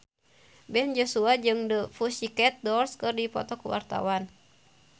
Ben Joshua jeung The Pussycat Dolls keur dipoto ku wartawan